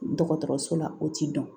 Dɔgɔtɔrɔso la o ti dɔn